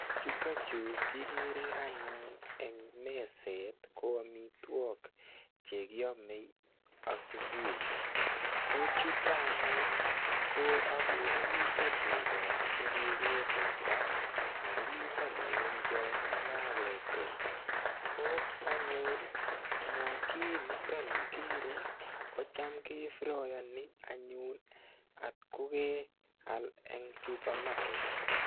Chutokchu kikere anyun eng meset ko amitwok chekiamei asubuhi ko chuto anyun ko akere mito cheko chekeke teta ako mito moembiot nekaketil ko anyun smokii nito ni kikere kocham kefroyoni anyun atko keal eng supermarket